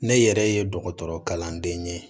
Ne yɛrɛ ye dɔgɔtɔrɔkalanden ye